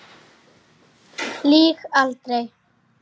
Lýg aldrei.